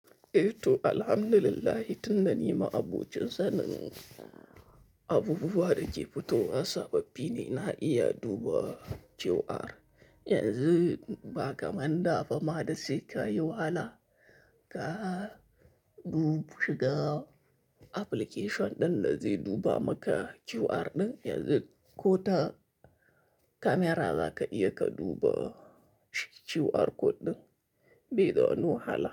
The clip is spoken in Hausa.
Eeto, alhamdulillahi tunda nima abbuucin sanin abubuwa da ke fitowa sababi ne na iya duba QR. Yanzu ba ka manda bama da sai ka yi wahala ka dub shiga application ɗin da zai duba maka QR ɗin, yanzu ko ta kamera za ka iya ka duba QR code ɗin. Be da wani wahala.